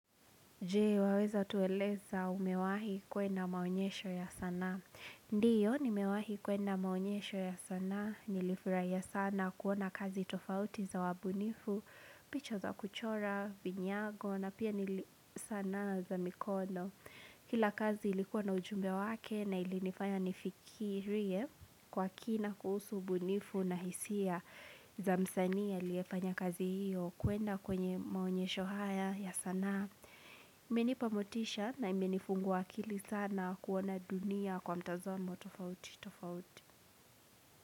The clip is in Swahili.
Jee,? Waweza tueleza umewahi kwenda maonyesho ya sanaa. Ndiyo, nimewahi kwenda maonyesho ya sanaa. Nilifurahia sana kuona kazi tofauti za wabunifu, picha za kuchora, vinyago, na pia nili sanaa za mikono. Kila kazi ilikuwa na ujumbe wake na ilinifanya nifikirie kwa kina kuhusu ubunifu na hisia. Za msanii aliyefanya kazi hiyo.kwenda kwenye maonyesho haya ya sanaa, na imenipa motisha na imenifungua akili sana kuona dunia kwa mtazamo tofauti tofauti.